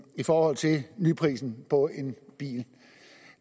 i forhold til nyprisen på en bil